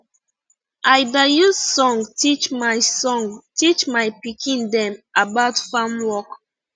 i da use song teach my song teach my pikin dem about farm work